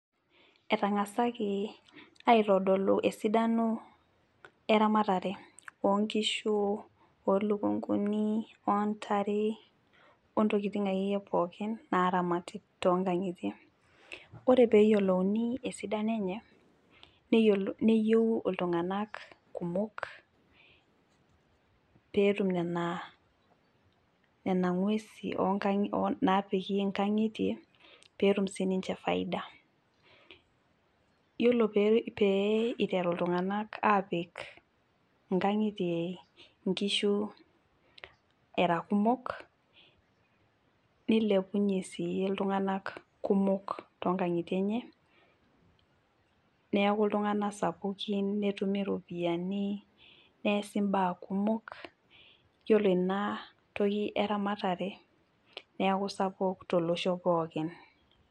etangasaki aitodolu esidano eramaatare oonkishu ,olukunkuni, ontare ontokiting akeyie naramati toonkangitie ,ore pee eyiolouni esidano enye ,neyieu iltunganak kumok netum nena gwesin naapiki nkangitie pee etum siininche faida ,yiolo pee eiteru ltunganak apik nkishu aa kumok nilipunye sii iltunganak toonkangitie enye ,neeku iltunganak sapukin netumi ropiyiani neesi mbaa kumok. yiolo ina toki eramatare neeku sapuk tolosho pookin.